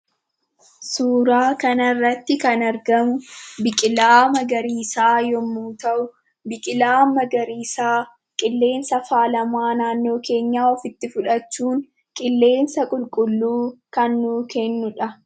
Suuraa kana irratti kan argamu biqilaa magariisa yemmuu ta'u, biqilaa magariisaa, qillensa faalamaa naannoo keenya ofitti fudhachuun qilleensa qulqulluu kan nuuf kennudha.